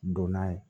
Don n'a ye